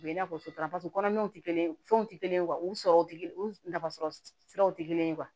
U bɛ i n'a fɔ sotaramaw tɛ kelen fɛnw tɛ kelen ye u sɔrɔ u nafa sɔrɔ siraw tɛ kelen ye